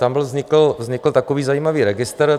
Tam vznikl takový zajímavý registr.